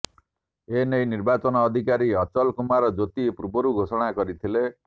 ଏ ନେଇ ନିର୍ବାଚନ ଅଧିକାରୀ ଅଚଲ କୁମାର ଜ୍ୟୋତି ପୂର୍ବରୁ ଘୋଷଣା କରିଥିଲେ